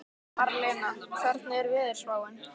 Marlena, hvernig er veðurspáin?